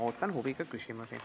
Ootan huviga küsimusi.